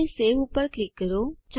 હવે સવે પર ક્લિક કરો